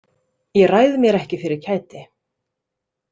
Ég ræð mér ekki fyrir kæti.